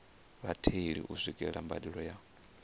vhatheli u swikelela mbadelo ya